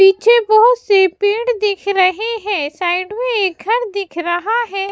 पीछे बहुत से पेड़ दिख रहे है साइड में एक घर दिख रहा है।